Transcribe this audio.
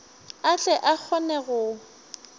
a tle a kgone go